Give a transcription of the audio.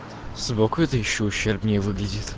собака это ещё ущербнее выглядит